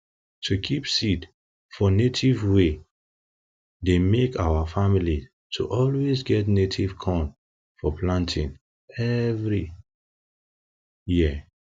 to keep seed fo native way deymake our family to always get native corn for planting every for planting every year